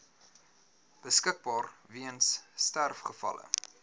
beskikbaar weens sterfgevalle